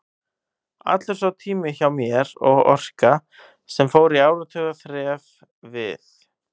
Allur sá tími hjá mér og orka, sem fór í áratuga þref við